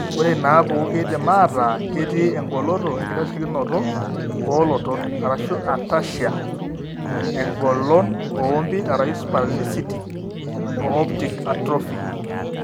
Ore inaapuku keidim aataa ketii engoloto enkitasheikinoto oolotot (ataxia); engolon oompit (spasticity); o optic atrophy.